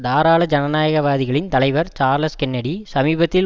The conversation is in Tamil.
தாராள ஜனநாயகவாதிகளின் தலைவர் சார்லஸ் கென்னடி சமீபத்தில்